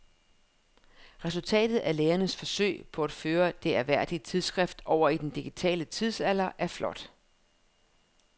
Resultatet af lægernes forsøg på at føre det ærværdige tidsskrift over i den digitale tidsalder er flot.